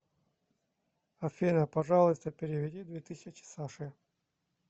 афина пожалуйста переведи две тысячи саше